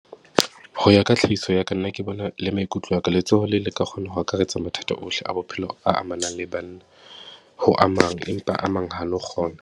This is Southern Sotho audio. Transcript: Ho ya ka tlhahiso ya ka nna ke bona le maikutlo a ka letsoho le le ka kgona ho akaretsa mathata ohle a bophelo a amanang le banna, ho amang, empa a mang ha a no kgona.